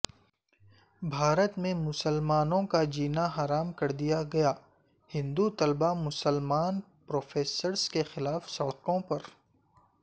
بھارت میں مسلمانوں کاجیناحرام کر دیاگیا ہندو طلباء مسلمان پروفیسرز کیخلاف سڑکوں پر